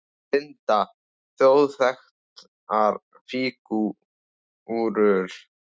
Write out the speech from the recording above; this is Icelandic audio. Linda: Þjóðþekktar fígúrur?